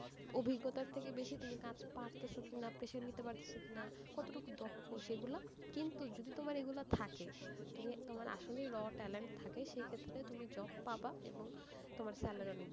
অভিজ্ঞতার থেকে বেশি, তুমি কাজ পারতেস কি না, pressure নিতে পারতেস কি না, কতটুকু দক্ষ, সেগুলা, কিন্তু তোমার এগুলা থাকে, তুমি, তোমার আসলেই raw talent থাকে সেক্ষেত্রে তুমি job পাবা এবং তোমার salary অনেক বেশি,